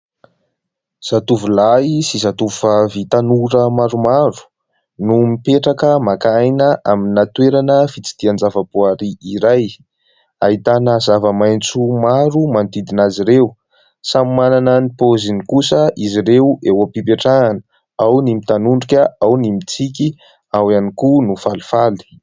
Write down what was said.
Zatovolahy sy zatovovavy tanora maromaro no mipetraka maka aina amina toerana fitsidihan-javaboary iray, ahitana zava-maitso maro manodidina azy ireo, samy manana ny paoziny kosa izy ireo, eo am-pipetrahana ao ny mitanondrika, ao ny mitsiky, ao ihany koa no falifaly.